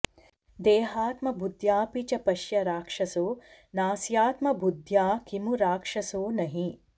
देहात्मबुद्ध्यापि च पश्य राक्षसो नास्यात्मबुद्ध्या किमु राक्षसो नहि